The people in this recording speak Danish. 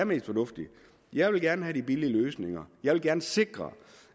mest fornuftige jeg vil gerne have de billige løsninger jeg vil gerne sikre